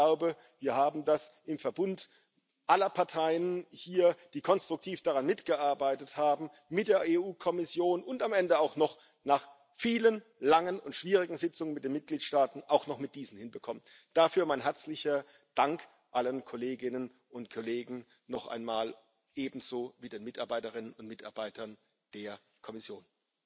Und ich glaube, wir haben das im Verbund aller Parteien hier, die konstruktiv daran mitgearbeitet haben, mit der EU Kommission und am Ende auch noch nach vielen langen und schwierigen Sitzung mit den Mitgliedstaaten auch noch mit diesen hinbekommen. Dafür mein herzlicher Dank allen Kolleginnen und Kollegen noch einmal, ebenso wie den Mitarbeiterinnen und Mitarbeitern der Kommission.